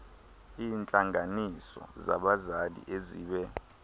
iintlanganiso zabazali ezibe